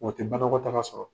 O te banakɔtaga sɔrɔ.